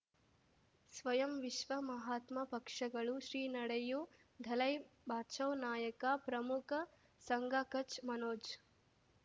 ಸ್ವಯಂ ವಿಶ್ವ ಮಹಾತ್ಮ ಪಕ್ಷಗಳು ಶ್ರೀ ನಡೆಯೂ ದಲೈ ಬಚೌ ನಾಯಕ ಪ್ರಮುಖ ಸಂಘ ಕಚ್ ಮನೋಜ್